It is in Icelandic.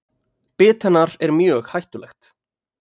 Bit hennar er mjög hættulegt.